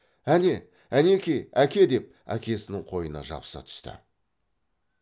әне әнеки әке деп әкесінің қойнына жабыса түсті